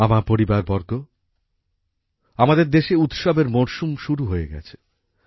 আমার পরিবারবর্গ আমাদের দেশে উৎসবের মরশুম শুরু হয়ে গেছে